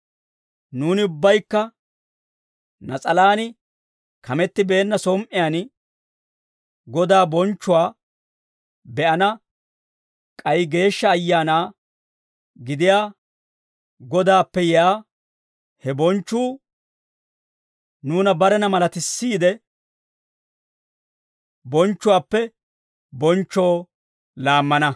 Nuuni ubbaykka nas'alaan kamettibeenna som"iyaan Godaa bonchchuwaa be'ana k'ay Geeshsha Ayaana gidiyaa Godaappe yiyaa he bonchchuu nuuna barena malatissiide, bonchchuwaappe bonchchoo laammana.